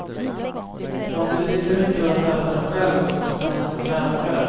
Man blir lika lycklig av att läsa den själv som tillsammans med sin älskade.